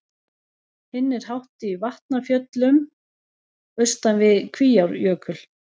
Hinn er hátt í Vatnafjöllum austan við Kvíárjökul.